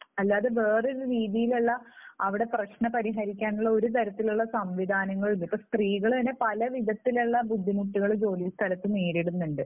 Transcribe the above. അല്ലാതെ വേറൊരു രീതിയിൽ ഉള്ള അവിടെ പ്രശ്നം പരിഹരിക്കാനുള്ള ഒരു തരത്തിലുള്ള സംവിധാനങ്ങളും ഇല്ല. ഇപ്പോൾ സ്ത്രീകൾ തന്നെ പല വിധത്തിലുള്ള ബുദ്ധിമുട്ടുകൾ ജോലി സ്ഥലത്ത് നേരിടുന്നുണ്ട്.